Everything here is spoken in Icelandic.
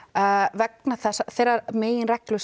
vegna þeirrar meginreglu